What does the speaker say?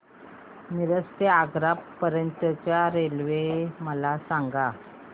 मिरज ते आग्रा पर्यंत च्या रेल्वे मला सांगा